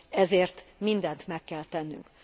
Ezért mindent meg kell tennünk.